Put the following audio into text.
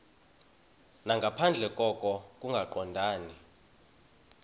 nangaphandle koko kungaqondani